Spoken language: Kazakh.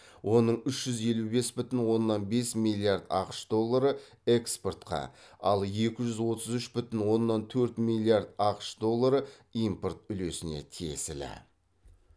оның үш жүз елу бес бүтін оннан бес миллиард ақш доллары экспортқа ал екі жүз отыз үш бүтін оннан төрт миллиард ақш доллары импорт үлесіне тиесілі